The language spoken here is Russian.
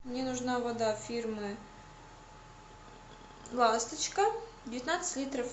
мне нужна вода фирмы ласточка девятнадцать литров